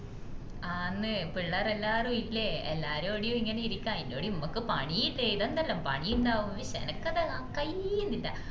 ആന്ന് പിള്ളാറ് എല്ലാരു ഇല്ലേ എല്ലാരൂടിഎം ഇങ്ങനെ ഇരിക്കെ ആയിന്റൂടെ മ്മക്ക് പണി ഇല്ലേ ഇതെന്തെല്ലാം പണി ഇണ്ടാവും എനക്കത് കയ്യിന്നില്ല